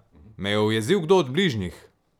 Me je ujezil kdo od bližnjih?